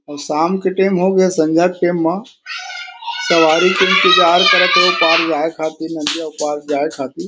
अउ शाम के टाइम हे अउ सनझा के टेम मा सवारी के इंतज़ार करत थे ओ पार जाये खातिर नादिया पार जाये खातिर--